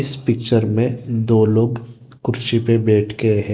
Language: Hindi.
पिक्चर में दो लोग कुर्सी पे बैठ के हैं।